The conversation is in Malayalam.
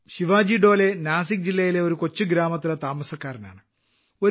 ശിവാജി ഡോലെ നാസിക്ക് ജില്ലയിലെ ഒരു കൊച്ചുഗ്രാമത്തിലെ താമസക്കാരനാണ്